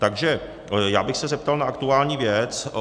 Takže já bych se zeptal na aktuální věc.